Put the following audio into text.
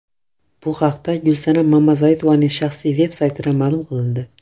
Bu haqda Gulsanam Mamazoitovaning shaxsiy veb saytida ma’lum qilindi .